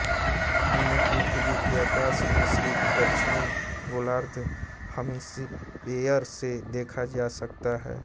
इन्हें पृथ्वी के आकाश में सिर्फ़ दक्षिणी गोलार्ध हॅमिस्फ्येर से देखा जा सकता है